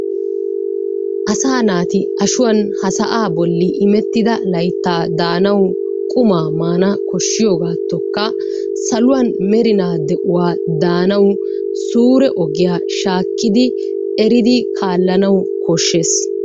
Asaa naati ashuwan ha sa'aa bolli imettidaa layttaa daanawu qummaa maanawu koshshiyogaatoonkka saluwa merinaa de'uwa daanawu suure ogiya shaakkidi eridi kaalanawu koshshees.